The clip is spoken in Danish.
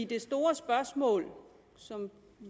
det store spørgsmål som